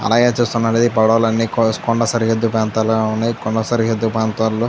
అలాగే చూస్తున్నట్లయితే పడవలన్నీ కొ కొండ సరిహద్దు ప్రాంతంలో ఉన్నది కొండ సరిహద్దు ప్రాంతాల్లో--